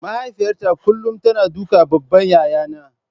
Mahaifiyata kullum tana dukan babban yayana.